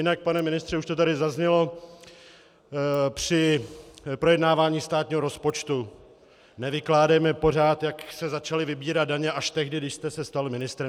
Jinak, pane ministře, už to tady zaznělo při projednávání státního rozpočtu, nevykládejme pořád, jak se začaly vybírat daně až tehdy, když jste se stal ministrem.